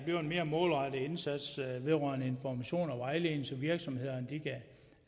bliver en mere målrettet indsats vedrørende information og vejledning så virksomhederne kan